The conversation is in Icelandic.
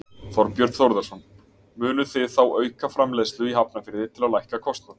Þorbjörn Þórðarson: Munuð þið þá auka framleiðslu í Hafnarfirði til að lækka kostnað?